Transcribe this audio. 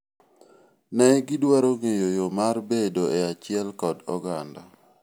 ne gidwaro ngeyo yoo mar bedo e achiel kod oganda